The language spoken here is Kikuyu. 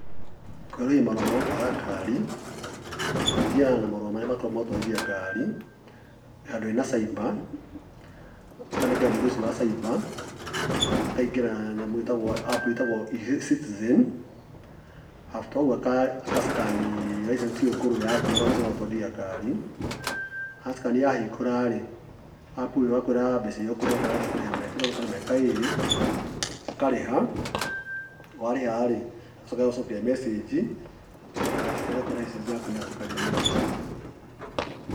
Kwerũhia marũa ma gũtwara ngari, ũthiaga na marũa marĩa makoragwo ma gũtwarithia ngari handũ hena cyber, ũkanengera mũndũ ũcio wa cyber akaingĩra App ĩtagwo eCitizen after ũgũo aka scan -ni license ĩyo ngũrũ yaku, marũa macio ma gũtwarithia ngari, askani yahingũra-rĩ, App ĩgakwĩra mbeca irĩa ũkũriha okorwo ũkwenda kũrĩha mĩaka ĩtatu kana mĩaka ĩĩrĩ ũkarĩha, warĩha-rĩ ĩgagũcokeria mecinji nĩgetha ĩgakwira license yaku nĩyatuĩka renewed.